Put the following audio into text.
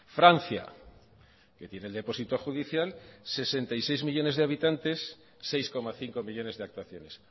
francia que tiene el deposito judicial sesenta y seis millónes de habitantes seis coma cinco millónes de actuaciones